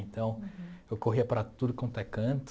Então, eu corria para tudo quanto é canto.